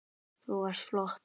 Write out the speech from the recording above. Þú varst flott